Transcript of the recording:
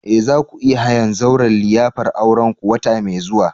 Eh! za ku iya hayan zauren liyafar aurenku wata mai zuwa.